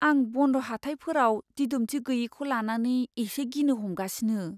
आं बन्ड हाथाइफोराव दिदोमथि गैयैखौ लानानै एसे गिनो हमगासिनो।